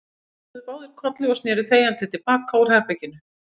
Þeir kinkuðu báðir kolli og sneru þegjandi til baka út úr herberginu.